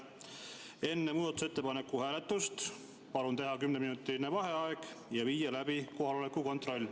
Enne muudatusettepaneku hääletust palun teha kümneminutiline vaheaeg ja viia läbi kohaloleku kontroll.